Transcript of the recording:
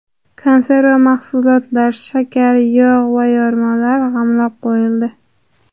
Konserva mahsulotlar, shakar, yog‘ va yormalar g‘amlab qo‘yildi.